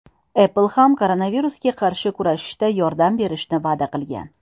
Apple ham koronavirusga qarshi kurashishda yordam berishni va’da qilgan.